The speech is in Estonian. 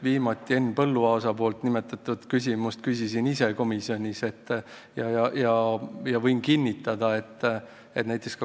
Henn Põlluaasa esitatud küsimuse küsisin komisjonis ise.